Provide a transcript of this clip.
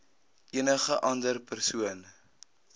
enige ander persoon